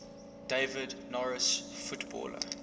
david norris footballer